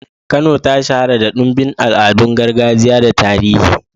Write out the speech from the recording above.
Kano ta shahara da ɗimbin al'adun gargajiya da tarihi.